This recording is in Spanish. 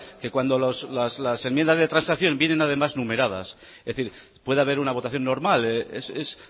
que cuando las enmiendas de transacción vienen además numeradas es decir puede haber una votación normal es